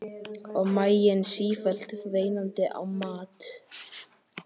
Og maginn sífellt veinandi á mat.